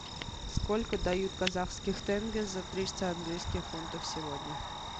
сколько дают казахских тенге за триста английских фунтов сегодня